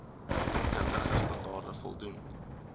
kundige standaarde voldoen